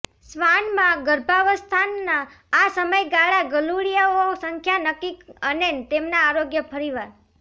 શ્વાન માં ગર્ભાવસ્થાના આ સમયગાળા ગલુડિયાઓ સંખ્યા નક્કી અને તેમના આરોગ્ય ફરીવાર